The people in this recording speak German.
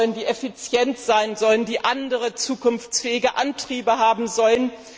und effizient sein sollen, die andere zukunftsfähige Antriebe haben sollen.